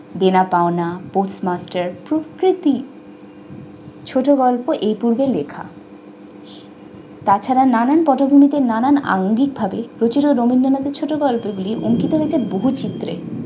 দেনা পাওনা, পোস্টমার্কেট ছোট গল্প এই পূর্বে লেখা। তাছাড়া নানান পটভূমিতে নানান অঙ্গিকভাবে রবীন্দ্রনাথের ছোটগল্পে তিনি অঙ্কিতরূপে বহু সূত্রে